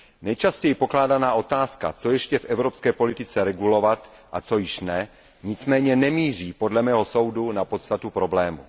Nejčastěji pokládaná otázka, co ještě v evropské politice regulovat a co již ne, nicméně nemíří podle mého soudu na podstatu problému.